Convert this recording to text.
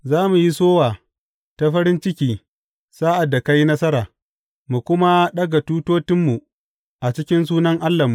Za mu yi sowa ta farin ciki sa’ad da ka yi nasara mu kuma ɗaga tutotinmu a cikin sunan Allahnmu.